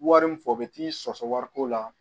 Wari min fɔ u bɛ t'i sɔsɔ wariko la